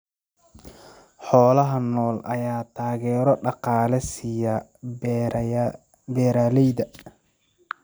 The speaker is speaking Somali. Xoolaha nool ayaa taageero dhaqaale siiya beeralayda.